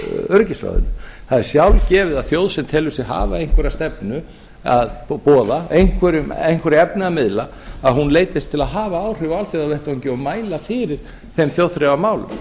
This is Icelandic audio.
öryggisráðinu það er sjálfgefið að þjóð sem telur sig hafa einhverja stefnu að boða einhverju efni að miðla að hún leitist til að hafa áhrif á alþjóðavettvangi og mæla fyrir þeim þjóðþrifamálum